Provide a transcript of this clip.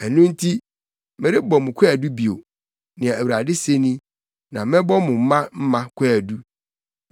“Ɛno nti, merebɔ mo kwaadu bio,” nea Awurade se ni. “Na mɛbɔ mo mma mma kwaadu.